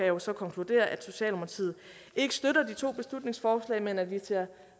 jo så konkludere at socialdemokratiet ikke støtter de to beslutningsforslag men at vi ser